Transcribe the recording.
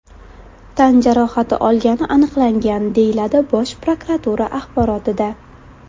tan jarohati olgani aniqlangan”, deyiladi Bosh prokuratura axborotida.